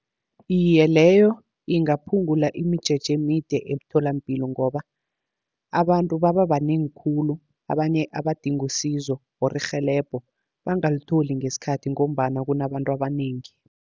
Iye, leyo ingaphungula imijeje emide emtholapilo, ngoba abantu baba banengi khulu, abanye abadinga isizo or irhelebho bangalitholi ngesikhathi, ngombana kunabantu abanengi.